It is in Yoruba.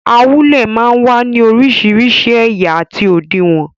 Awúlẹ̀ máa ń wá ní orísìírísìí ẹ̀yà àti òdiwọ̀n.